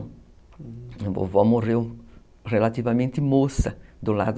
A vovó morreu relativamente moça do lado.